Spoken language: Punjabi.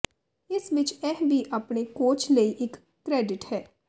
ਇਸ ਵਿਚ ਇਹ ਵੀ ਆਪਣੇ ਕੋਚ ਲਈ ਇੱਕ ਕ੍ਰੈਡਿਟ ਹੈ